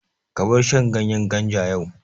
Ka bar shan ganyen ganja yau!